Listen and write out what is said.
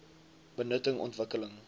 benutting ontwik keling